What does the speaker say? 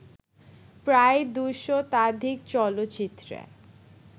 প্রায় দুশতাধিক চলচ্চিত্রে